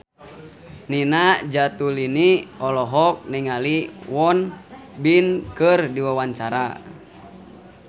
Nina Zatulini olohok ningali Won Bin keur diwawancara